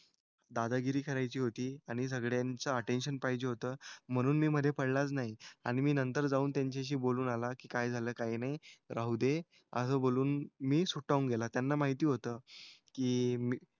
दादागिरी करायची होती आणि सगळ्यांचं अटेन्शन पाहिजे होतं म्हणून मी मधे पडलाच नाही. आणि मी नंतर जाऊन त्यांच्याशी बोलून आला की काय झालं काय नाही. राहू दे. असं बोलून मी सुटावून गेला. त्यांना माहिती होतं की मी,